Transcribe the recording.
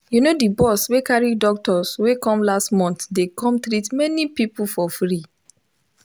you know the bus we carry doctors wey come last month dey come treat many people for free